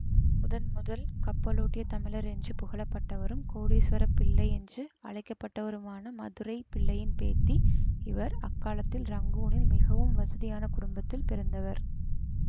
முதன் முதல் கப்பலோட்டிய தமிழர் என்று புகழப்பட்டவரும் கோடீஸ்வரப்பிள்ளை என்று அழைக்கப்பட்டவருமான மதுரைப்பிள்ளையின் பேத்திஇவர் அக்காலத்தில் ரங்கூனில் மிகவும் வசதியான குடும்பத்தில் பிறந்தவர்